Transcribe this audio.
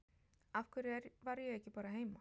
Af hverju var ég ekki bara heima?